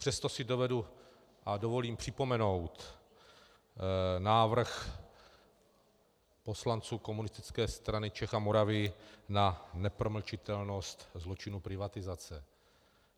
Přesto si dovedu a dovolím připomenout návrh poslanců Komunistické strany Čech a Moravy na nepromlčitelnost zločinu privatizace.